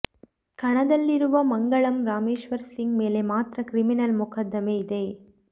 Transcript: ಕಣದಲ್ಲಿರುವ ಮಂಗಳಂ ರಾಮೇಶ್ವರ್ ಸಿಂಗ್ ಮೇಲೆ ಮಾತ್ರ ಕ್ರಿಮಿನಲ್ ಮೊಕದ್ದಮೆ ಇದೆ